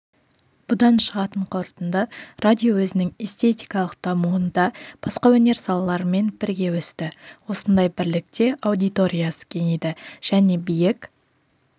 бұдан шығатын қорытынды радио өзінің эстетикалық дамуында басқа өнер салаларымен бірге өсті осындай бірлікте аудиториясы кеңейді және биік